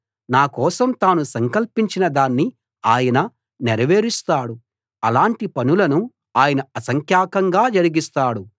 నా కోసం తాను సంకల్పించిన దాన్ని ఆయన నెరవేరుస్తాడు అలాటి పనులను ఆయన అసంఖ్యాకంగా జరిగిస్తాడు